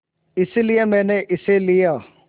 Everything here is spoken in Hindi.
इसलिए मैंने इसे लिया